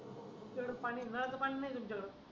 तिकडल पाणी नळाचं पाणी नाही तुमच्याकड